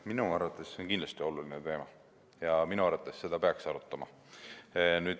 Minu arvates on see kindlasti oluline teema ja minu arvates peaks seda arutama.